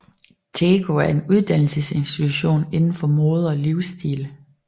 TEKO er en uddannelsesinstitution inden for mode og livsstil